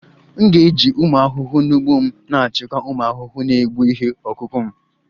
M ga-eji ụmụ ahụhụ n'ugbo m na-achịkwa ụmụ ahụhụ na-egbu ihe ọkụkụ m